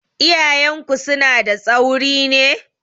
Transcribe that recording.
Iyayenku suna da tsauri ne?